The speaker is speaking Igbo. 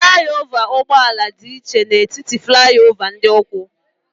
Fụlai ova ụgbọala dị iche n'etiti fụlai ova ndị ụkwụ.